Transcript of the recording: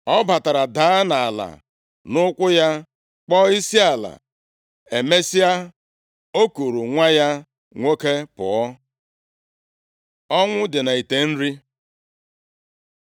Ọ batara, daa nʼala nʼụkwụ ya, kpọọ isiala. Emesịa, o kuuru nwa ya nwoke pụọ. Ọnwụ dị nʼite nri